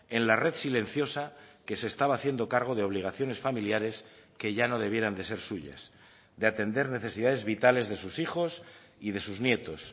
en la red silenciosa que se estaba haciendo cargo de obligaciones familiares que ya no debieran de ser suyas de atender necesidades vitales de sus hijos y de sus nietos